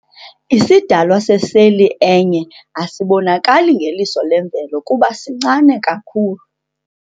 Isidalwa seseli enye asibonakali ngeliso lemvelo kuba sincane kakhulu.